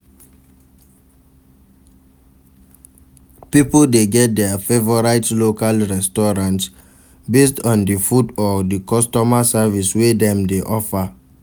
pipo de get their favorite local restaurant based on di food or customer service wey Dem de offer